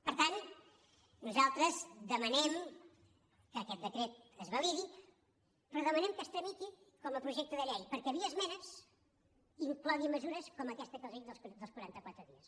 per tant nosaltres demanem que aquest decret es va·lidi però demanem que es tramiti com a projecte de llei perquè via esmenes inclogui mesures com aquesta que els dic dels quaranta·quatre dies